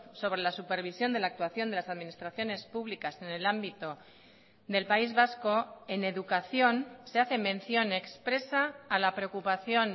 sobre la supervisión de la actuación de las administraciones públicas en el ámbito del país vasco en educación se hace mención expresa a la preocupación